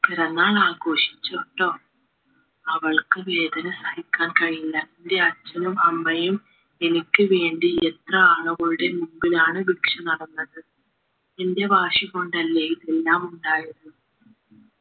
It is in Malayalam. പിറന്നാളോഘോഷിച്ചോട്ടോ അവൾക്ക് വേദന സഹിക്കാൻ കഴിഞ്ഞില്ല എന്റെ അച്ഛനും അമ്മയും എനിക്ക് വേണ്ടി എത്ര ആളുകളുടെ മുമ്പിലാണ് ഭിക്ഷ നടന്നത് എന്റെ വാശി കൊണ്ടല്ലേ ഇതെല്ലാം ഉണ്ടായത്